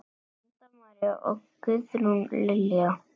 Linda María og Guðrún Lilja.